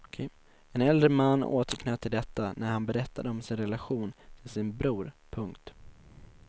En äldre man återknöt till detta när han berättade om sin relation till sin bror. punkt